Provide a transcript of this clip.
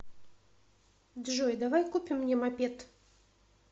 джой давай купим мне мопед